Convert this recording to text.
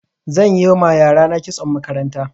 Zan yi ma yarana kitson makaranta.